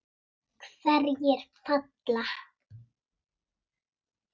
Hverjir falla?